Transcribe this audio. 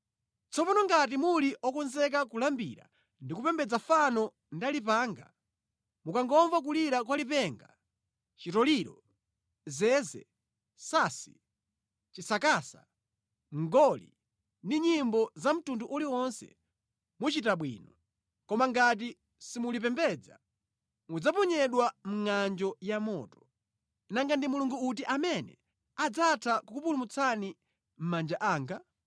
Tsopano ngati muli okonzeka kulambira ndi kupembedza fano ndinalipanga, mukangomva kulira kwa lipenga chitoliro, zeze, sansi, chisakasa, mngoli ndi nyimbo za mtundu uliwonse, muchita bwino. Koma ngati simulipembedza, mudzaponyedwa mʼnganjo ya moto. Nanga ndi mulungu uti amene adzatha kukupulumutsani mʼmanja anga?”